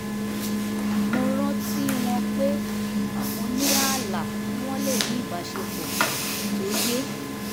mo rántí wọn pé mo ní ààlà kí wọ́n lè ní ìbáṣepọ̀ tó yé